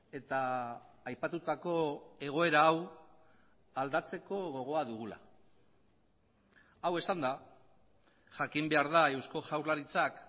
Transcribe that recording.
eta aipatutako egoera hau aldatzeko gogoa dugula hau esanda jakin behar da eusko jaurlaritzak